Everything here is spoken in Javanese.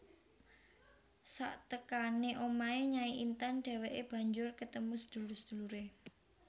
Saktekané omahé Nyai Intan dhèwèké banjur ketemu sedulur seduluré